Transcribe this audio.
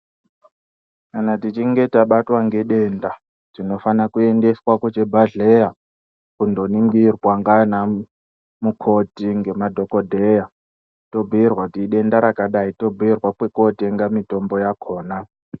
Kana tichinge tabatwa ngedenda tinofana kuendeswa kuchibhadhleya kunoningirwa ndiana mukoti ngemadhogodheya, tobhuirwa kuti idenda rakadai tobhuira kwekotenga mitombo yakona.